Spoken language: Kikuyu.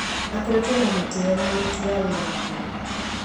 Akoretwo na gĩtĩo na ũrũti wa wĩra mwega